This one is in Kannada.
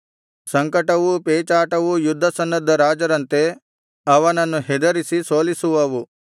ಸಂಕಟವೂ ಪೇಚಾಟವೂ ಯುದ್ಧಸನ್ನದ್ಧ ರಾಜರಂತೆ ಅವನನ್ನು ಹೆದರಿಸಿ ಸೋಲಿಸುವವು